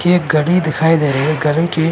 की एक गली दिखाई दे रही है। गली के--